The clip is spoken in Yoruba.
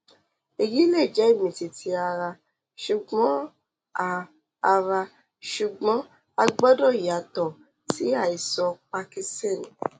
èyí lè jẹ ìmìtìtì ara ṣùgbọn a ara ṣùgbọn a gbọdọ yàtọ sí àìsàn parkinson